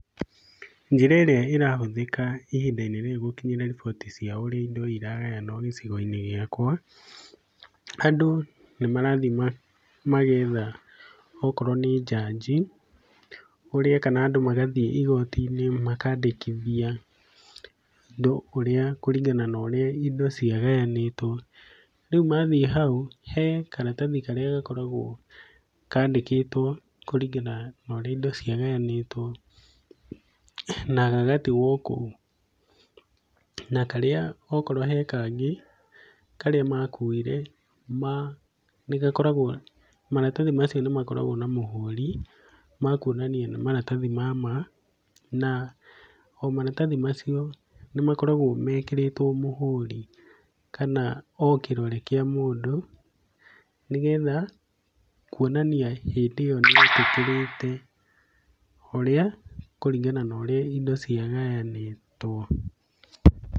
Njĩra ĩrĩa ĩrahũthĩka ihinda-inĩ rĩrĩ gũkinyĩra riboti cia ũrĩa indo iragayanwo gĩcigo-inĩ gĩakwa, andũ nĩ marathiĩ ma magetha okorwo nĩ njanji, ũrĩa kana andũ magathiĩ igoti-inĩ, makandĩkithia ndo ũrĩa kũringana na ũrĩa indo ciagayanĩtwo, rĩu mathiĩ hau he karatathi karĩa gakoragwo kandĩkĩtwo, kũringana noria indo cia gayanĩtwo, na gagatigwo kũu, na karĩa okorwo hekangĩ, karĩa makuire ma nĩ gakoragwo, maratathi macio nĩ makoragwo na mũhũri, makuonania nĩ maratathi mamaa, na omaratathi macio nĩ makoragwo mekĩrĩtwo mũhũri, kana o kĩrore kĩa mũndũ, nĩ getha kuonania hĩndĩ ĩyo nĩ etĩkĩrĩte ũrĩa kũringana na ũrĩa indo cia gayanĩtwo,